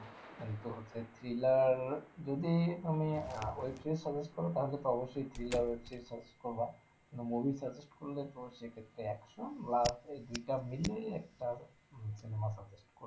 এইতো সেই thriller যদি তুমি আহ web series suggest করো তাহলে তো অব্যশই thriller web series suggest করবা, movie suggest করলে তো সেক্ষেত্রে action love এই দুইটা মিলিয়ে একটা উম cinema suggest করলে,